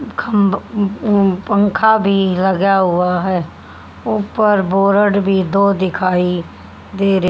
खम्ब उ उम पंखा भी लगा हुआ है ऊपर बोर्ड भी दो दिखाई दे र --